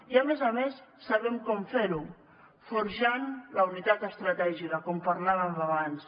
i a més a més sabem com fer ho forjant la unitat estratègica com parlàvem abans